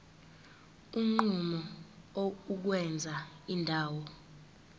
unquma ukwenza indawo